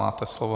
Máte slovo.